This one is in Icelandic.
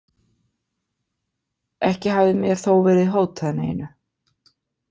Ekki hafði mér þó verið hótað neinu.